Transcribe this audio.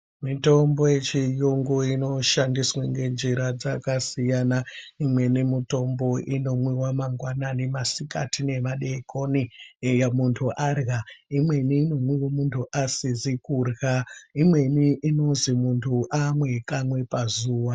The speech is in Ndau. Mitombo yechiyungu inoshandiswa ngenjira dzakasiyana. Imweni mitombo inomwiwa mangwanani, masikati nemadeekoni, eya munhu arya. Imweni inomwiwa muntu asizi kurya. Imweni inozi muntu amwe kamwe pazuva.